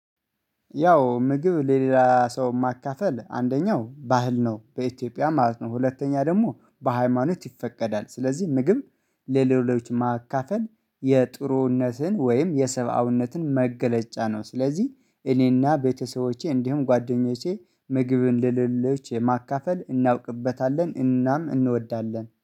ያው ምግብ ለሌላ ሰው ማካፈል አንደኛው ባህል ነው በኢትዮጵያ ማለት ነው። ሁለተኛ ደግሞ በሃይማኖት ይፈቀዳል ስለዚህ ምግብ ለሌሎች ማካፈል የጥሩነትን ወይም የሰባዊነትን መገለጫ ነው። ስለዚህ እኔና ቤተሰቦቼ እንዲሁም ጓደኞቼ ምግብ እንደሌሎች ማካፈል እናውቅበታለን እናም እንወዳለን